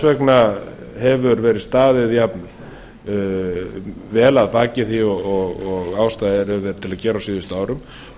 vegna hefur verið staðið jafnvel að baki því og ástæða er til að gera á síðustu árum og